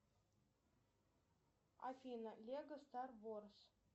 афина лего стар ворз